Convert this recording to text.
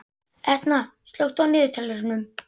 Etna, slökktu á niðurteljaranum.